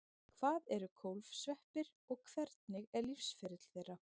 hvað eru kólfsveppir og hvernig er lífsferill þeirra